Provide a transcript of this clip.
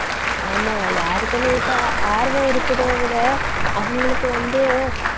ஆமா யாருக்குமே இப்ப ஆர்வம் இருக்குதோ விட அவங்களுக்கு வந்து